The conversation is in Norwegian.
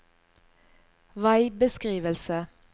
veibeskrivelse